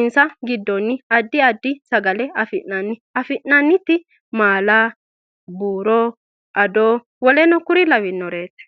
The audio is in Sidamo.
insa giddoni addi addi sagale afinanni afinanitino maala, buuro addona WKL lawanoreeti